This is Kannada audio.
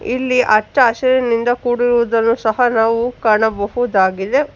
ಇಲ್ಲಿ ಅಚ್ಚ ಹಸಿರಿನಿಂದ ಕೂಡಿರುವುದನ್ನು ಸಹಾ ನಾವು ಕಾಣಬಹುದಾಗಿದೆ.